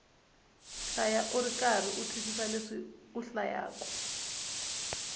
hlaya ukarhi u twisisa leswi u hlayaku